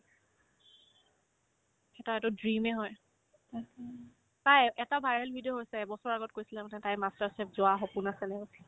সেইকাৰণেতো dream য়ে হয় তাইৰ এটা viral video হৈছে এবছৰ আগত কৈছিলে মানে তাইৰ master chef যোৱাৰ সপোন আছে এনেকে কৈছিলে